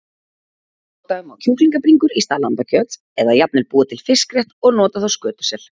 Nota má kjúklingabringur í stað lambakjöts eða jafnvel búa til fiskrétt og nota þá skötusel.